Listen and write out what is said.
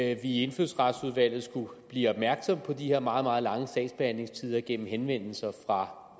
at vi i indfødsretsudvalget skulle blive opmærksomme på de her meget meget lange sagsbehandlingstider gennem henvendelser fra